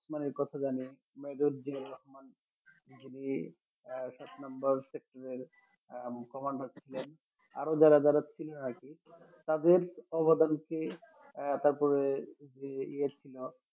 উসমানীর কথা জানি মেহেরুদ্দিন রহমান তিনি সাত নম্বর sector commander ছিলেন আরও যারা যারা ছিলেন আরকি তাদের অবদান কে আহ তারপরে যে ইয়ে ছিল